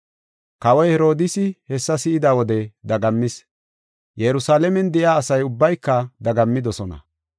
Kawoy Herodiisi hessa si7ida wode dagammis. Yerusalaamen de7iya asa ubbayka dagammidosona.